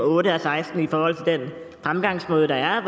otte og seksten i forhold til den fremgangsmåde der